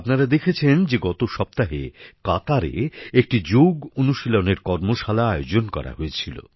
আপনারা দেখেছেন যে গত সপ্তাহে কাতারে একটি যোগ অনুশীলনের কর্মশালা আয়োজন করা হয়েছিল